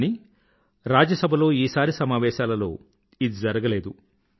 కానీ రాజ్య సభలో ఈసారి సమావేశాలలో ఇది జరగలేదు